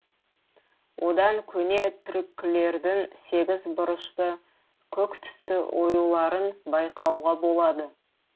одан көне түркілердің сегіз бұрышты көк түсті оюларын байқауға болады